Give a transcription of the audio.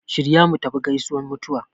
Shirya mutafi gaisuwan mutuwa